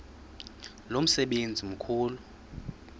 lo msebenzi mkhulu